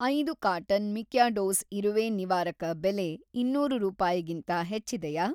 ಐದು carton Mikados ಇರುವೆ ನಿವಾರಕ ಬೆಲೆ ಇನ್ನೂರು ರೂಪಾಯಿಗಿಂತ ಹೆಚ್ಚಿದೆಯಾ?